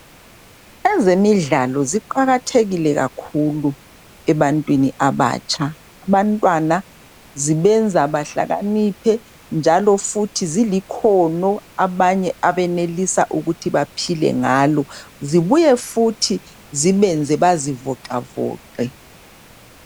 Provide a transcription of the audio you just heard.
Ezemidlalo ziqakathekile kakhulu ebantwini abatsha abantwana zibenza bahlakaniphe njalo zilikhono abanye abenelis aukutho baphile ngalo zibuye futhi zibenze bazivoxavoxe